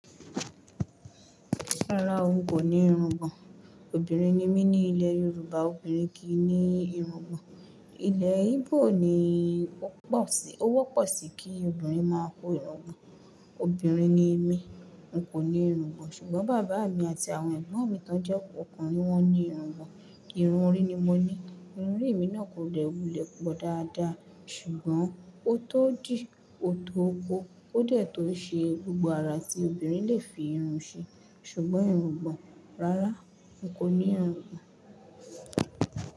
Rárá o, n kò ní irungbọ̀n. Obìnrin ni mí ní ilẹ̀ Yorùbá obìnrin kì í ní irungbọ̀n. Ilẹ̀ Ígbò ni ó wọ́pọ̀ sí kí obìnrin máa kó irungbọ̀n. Obìnrin ni mí, n kò ní irungbọ̀n, ṣùgbọ́n bàbá mi àti àwọn ẹgbọ̀n mi tán jẹ ọkùnrin wọ́n ní irungbọ̀n. Irun orí ni mo ní. Irun orí mi náà kò dẹ wùlẹ̀ gbọdọ dáadáa ṣùgbọ́n ó tó dí, ó tó ko, ó dẹ̀ tó ṣe gbogbo ara tí obìnrin lè fi irun ṣe. Ṣùgbọ́n irungbọ̀n, rárá, n kò ní irungbọ̀n.